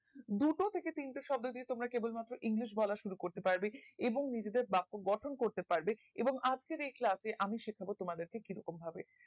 দুটো থাকে তিনটে শব্দ দিয়ে তোমরা কেবল মাত্র english বলা শুরু করতে পারবে এবং নিজেদের ব্যাক গঠন করতে পারবে এবং আজকের এই class এ আমি শেখাবো তোমাদের কে কিরকম ভাবে